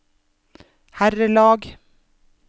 herrelag